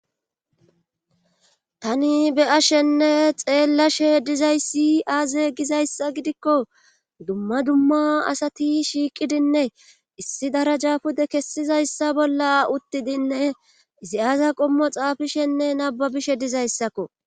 tani be ashenne xeellashe dizayssi aaze gizayssa gidikko dumma dumma asati shiiqidinne issi darajaafude kessizayssa bolla uttidinne izi aaza qommo xaafishenne nababishe dizayssakko